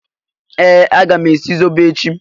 Ee! Aga m esi zobo echi.